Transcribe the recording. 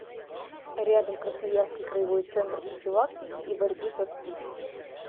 рядом красноярский краевой центр профилактики и борьбы со спид